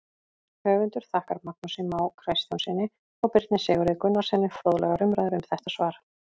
Höfundur þakkar Magnúsi Má Kristjánssyni og Birni Sigurði Gunnarssyni fróðlegar umræður um þetta svar.